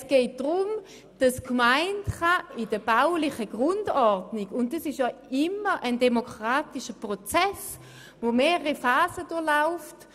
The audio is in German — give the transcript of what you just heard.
Es geht vielmehr darum, dass die Gemeinde in der baulichen Grundordnung etwas festlegen kann, und das ist immer ein demokratischer Prozess, der mehrere Phasen durchläuft.